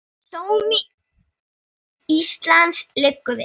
Sómi Íslands liggur við.